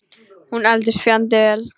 Hún eldist fjandi vel.